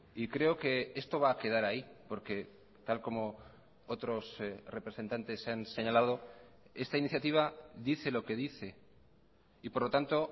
y creo que esto va a quedar ahí porque tal como otros representantes han señalado esta iniciativa dice lo que dice y por lo tanto